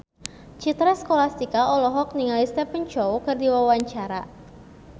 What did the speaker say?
Citra Scholastika olohok ningali Stephen Chow keur diwawancara